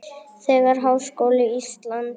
Þegar Háskóli Íslands